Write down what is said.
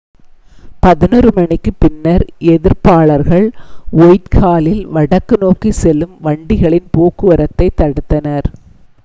11:00 மணிக்குப் பின்னர் எதிர்ப்பாளர்கள் ஒயிட்ஹாலில் வடக்கு நோக்கி செல்லும் வண்டிகளின் போக்குவரத்தைத் தடுத்தனர்